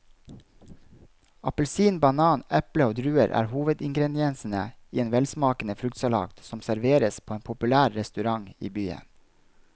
Appelsin, banan, eple og druer er hovedingredienser i en velsmakende fruktsalat som serveres på en populær restaurant i byen.